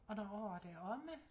Og når året er omme